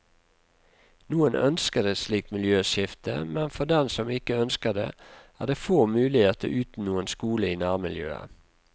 Noen ønsker et slikt miljøskifte, men for dem som ikke ønsker det, er det få muligheter uten noen skole i nærmiljøet.